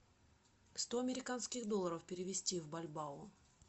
сто американских долларов перевести в бальбао